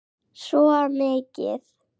Svo mikið.